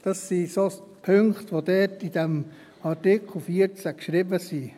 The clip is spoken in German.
Das sind so Punkte, die dort, in diesem Artikel 14, geschrieben stehen.